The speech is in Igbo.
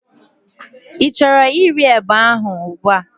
I chọrọ iri eba ahụ ugbua?